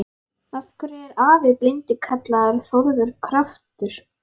Af hverju er afi blindi kallaður Þórður kjaftur?